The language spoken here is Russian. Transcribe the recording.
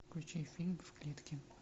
включай фильм в клетке